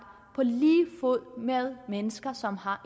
på lige fod med mennesker som har